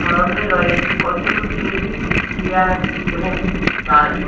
সামনে রয়েছে কতগুলি টেবিল চেয়ার এবং গাছ।